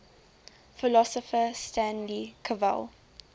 philosopher stanley cavell